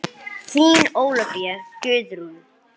Þín Ólafía Guðrún.